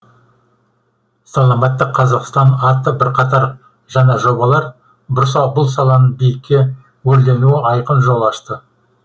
саламатты қазақстан атты бірқатар жаңа жобалар бұл саланың биікке өрлеуіне айқын жол ашты